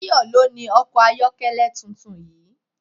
Tayọ ló ni ọkọ̀ ayọ́kẹ́lẹ́ tuntun yìí.